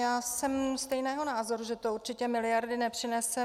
Já jsem stejného názoru, že to určitě miliardy nepřinese.